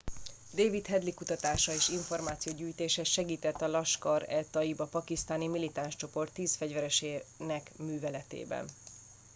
david headley kutatása és információgyűjtése segített a laskhar e taiba pakisztáni militáns csoport 10 fegyveresének műveletében